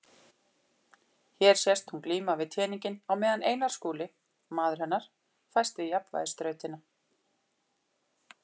Hér sést hún glíma við teninginn á meðan Einar Skúli, maður hennar, fæst við jafnvægisþrautina.